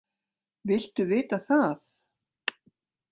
Viltu vita það?